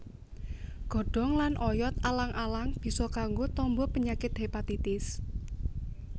Godhong lan oyot alang alang bisa kanggo tamba penyakit hépatitis